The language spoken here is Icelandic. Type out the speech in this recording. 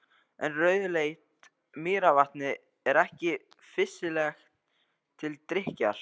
En rauðleitt mýrarvatnið er ekki fýsilegt til drykkjar.